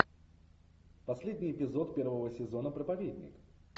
последний эпизод первого сезона проповедник